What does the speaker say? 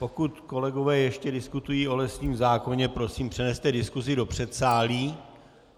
Pokud kolegové ještě diskutují o lesním zákoně, prosím, přeneste diskusi do předsálí.